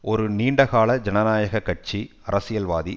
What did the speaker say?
ஒரு நீண்ட கால ஜனநாயக கட்சி அரசியல்வாதி